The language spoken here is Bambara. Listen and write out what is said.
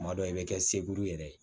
Kuma dɔw i bɛ kɛ segu yɛrɛ ye